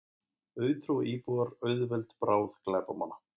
Auðtrúa íbúar auðveld bráð glæpamanna